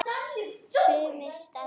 Sumir staðna.